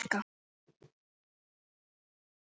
HANN ER ÞJÓFUR!